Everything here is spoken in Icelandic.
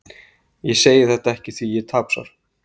Ég segi þetta ekki því ég er tapsár.